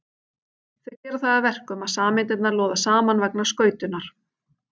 Þau gera það að verkum að sameindirnar loða saman vegna skautunar.